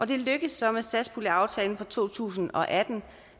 det lykkedes så med satspuljeaftalen for to tusind og atten